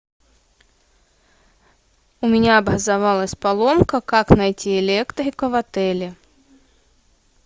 у меня образовалась поломка как найти электрика в отеле